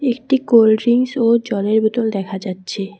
একটি cold drinks ও জলের বোতল দেখা যাচ্ছে ।